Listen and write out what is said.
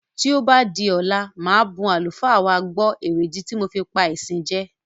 Tí ó bá di ọ̀la màá bun àlùfáà wa gbọ̀ èrèdí ti mo fi pá ìsìn jẹ.